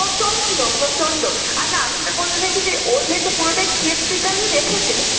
প্রচন্ড প্রচন্ড আর না আমি যেটা বলতে চাইছি ও যেহেতু পুরোটাই theatrically দেখেছি হম হ্যাঁ ওনার